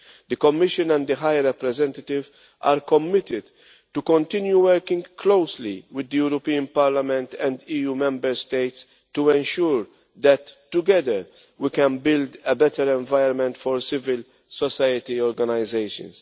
The Commission and the High Representative are committed to continue working closely with the European Parliament and EU Member States to ensure that together we can build a better environment for civil society organisations.